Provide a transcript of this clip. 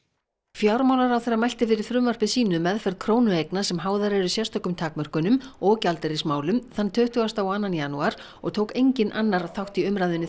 fjármálaráðherra mælti fyrir frumvarpi sínu um meðferð krónueigna sem háðar eru sérstökum takmörkunum og gjaldeyrismálum tuttugasta og annan janúar og tók enginn annar þátt í umræðunni